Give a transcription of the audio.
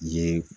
Ye